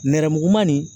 Nɛrɛmuguman nin